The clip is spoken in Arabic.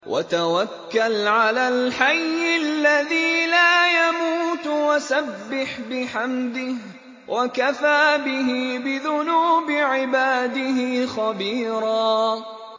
وَتَوَكَّلْ عَلَى الْحَيِّ الَّذِي لَا يَمُوتُ وَسَبِّحْ بِحَمْدِهِ ۚ وَكَفَىٰ بِهِ بِذُنُوبِ عِبَادِهِ خَبِيرًا